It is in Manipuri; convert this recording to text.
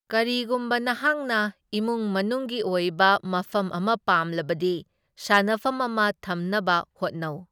ꯀꯔꯤꯒꯨꯝꯕ ꯅꯍꯥꯛꯅ ꯏꯃꯨꯡ ꯃꯅꯨꯡꯒꯤ ꯑꯣꯏꯕ ꯃꯐꯝ ꯑꯃ ꯄꯥꯝꯂꯕꯗꯤ, ꯁꯥꯟꯅꯐꯝ ꯑꯃ ꯊꯝꯅꯕ ꯍꯣꯠꯅꯧ꯫